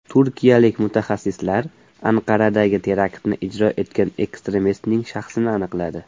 Turkiyalik mutaxassislar Anqaradagi teraktni ijro etgan ekstremistning shaxsini aniqladi.